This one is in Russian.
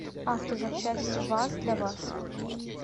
автозапчасти ваз для вас